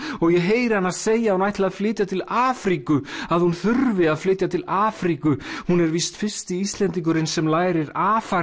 og ég heyri hana segja að hún ætli að flytja til Afríku að hún þurfi að flytja til Afríku hún er víst fyrsti Íslendingurinn sem lærir